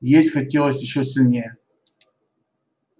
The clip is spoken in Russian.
есть хотелось ещё сильнее